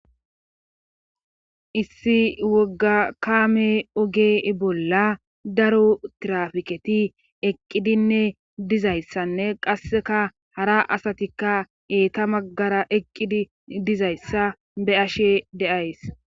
Issi wogga kaame oge bolla daro tirafiketi eqqidinne dizayssanne qasseka hara asatikka eeta maggara eqqidi dizayssa be ashe deays.